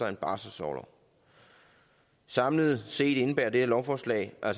en barselsorlov samlet set indebærer det her lovforslag at